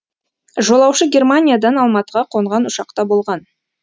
жолаушы германиядан алматыға қонған ұшақта болған